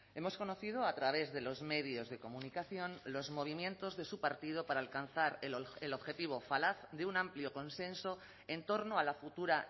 hemos conocido a través de los medios de comunicación los movimientos de su partido para alcanzar el objetivo falaz de un amplio consenso en torno a la futura